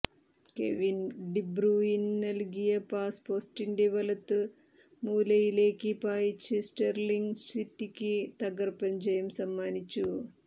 Kevin De Bruyne നൽകിയ pass പോസ്റ്റിന്റെ വലത് മൂലയിലേക്ക് പായിച്ച് സ്റ്റെർലിങ്ങ് സിറ്റിക്ക് തകർപ്പൻ ജയം സമ്മാനിച്ചു